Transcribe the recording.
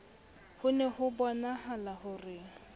ho ne hobonahala ho re